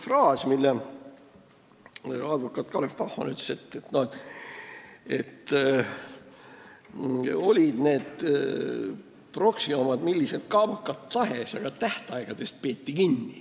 Nimelt, advokaat Kalev Bachmann ütles ühe sellise fraasi, et olid need proksi omad millised kaabakad tahes, aga tähtaegadest peeti kinni.